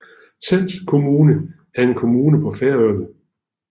Sands kommuna er en kommune på Færøerne